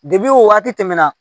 wagati tɛmɛna